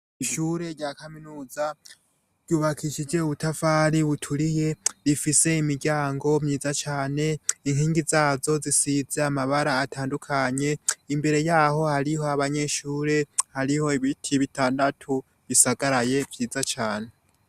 Ishure rya kaminuza ryubakishije ubutafari buturiye, rifise imiryango ifise amabara atandukanye, imbere yaho hari abanyeshuri, hariho ibiti bitandatu bisagaraye vyiza cane.